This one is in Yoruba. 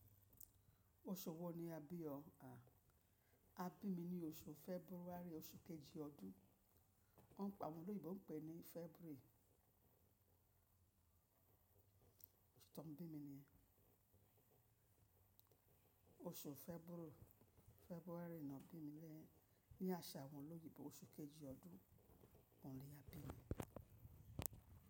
Oṣù wo ni a bí ọ? A, a bí mi ní oṣù February, oṣù kejì ọdún. Wọ́n ń pe ni awọn oloyinbo, pè ní February. Òṣù tó n bí mi ni yen oṣù February ni wọ́n bí mi, ní àṣà awọn oloyinbo oṣù kejì ọdún, ọ̀un ni a bí mi.